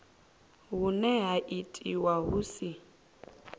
hune ha itiwa hu si